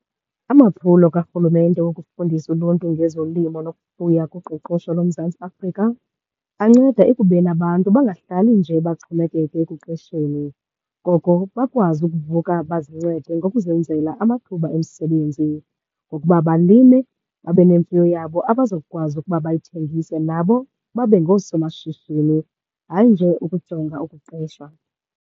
Amaphulo karhulumente wokufundisa uluntu ngezolimo nokufuya kuqoqosho loMzantsi Afrika anceda ekubeni abantu bangahlali nje baxhomekeke ekuqeshweni. Koko bakwazi ukuvuka bazincede ngokuzenzela amathuba emisebenzi ngokuba balime babe nemfuyo yabo abazokukwazi ukuba bayithengise. Nabo babe ngoosomashishini, hayi nje ukujonga ukuqeshwa.